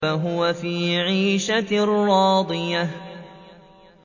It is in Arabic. فَهُوَ فِي عِيشَةٍ رَّاضِيَةٍ